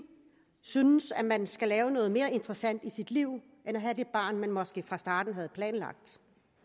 synes at man skal lave noget mere interessant i sit liv end at have det barn man måske fra starten havde planlagt